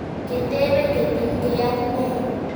Ketepe kotinykei ak ne?